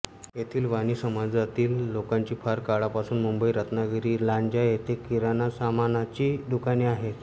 येथील वाणी समाजातील लोकांची फार काळापासून मुंबई रत्नागिरीलांजा येथे किराणा सामानाची दुकाने आहेत